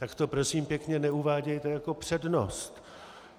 Tak to prosím pěkně neuvádějte jako přednost.